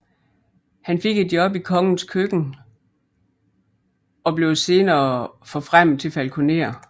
Han fik et job i kongens køkken og blev senere forfremmet til falkoner